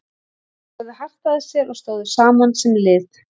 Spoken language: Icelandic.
Þeir lögðu hart að sér og stóðu saman sem lið.